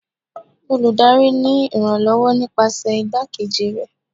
olùdarí ni iranlọwọ nipasẹ igbakejí rẹ